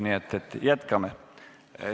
Nii et jätkame.